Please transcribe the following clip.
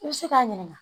I bɛ se k'a ɲininka